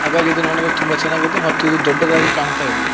ಹಾಗಾಗಿ ಇದು ನೋಡಲು ತುಂಬ ಚೆನ್ನಾಗಿದೆ ಮತ್ತು ಇದು ದೊಡ್ಡದಾಗಿ ಕಾಣ್ತಾ ಇದೆ.